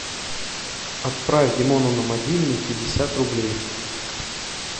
отправь димону на мобильный пятьдесят рублей